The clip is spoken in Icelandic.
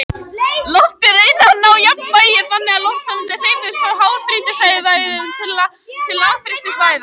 Loftið reynir að ná jafnvægi, þannig að loftsameindir hreyfast frá háþrýstisvæðum til lágþrýstisvæða.